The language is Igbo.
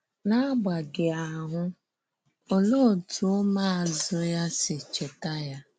N’agbàghị àhụ́, òlèé òtú ǔmụ̀àzụ́ ya sì chèta ya?